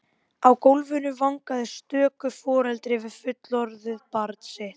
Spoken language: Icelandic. Á gólfinu vangaði stöku foreldri við fullorðið barn sitt.